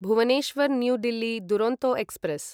Bhubaneswar new Delhi Duronto express